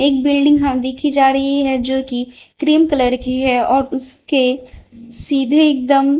एक बिल्डिंग हम देखी जा रही है जो कि क्रीम कलर की है और उसके सीधे एकदम--